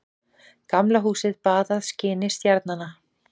Gamla húsið baðað skini stjarnanna.